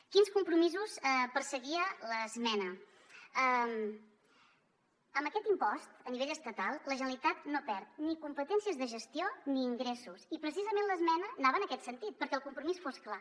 quins compromisos perseguia l’esmena amb aquest impost a nivell estatal la generalitat no perd ni competències de gestió ni ingressos i precisament l’esmena anava en aquest sentit perquè el compromís fos clar